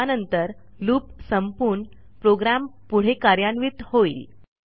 यानंतर लूप संपून प्रोग्रॅम पुढे कार्यान्वित होइल